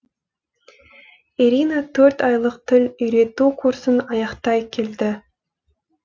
ирина төрт айлық тіл үйрету курсын аяқтай келді